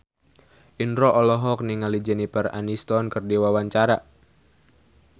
Indro olohok ningali Jennifer Aniston keur diwawancara